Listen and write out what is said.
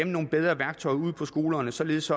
nogle bedre værktøjer ude på skolerne således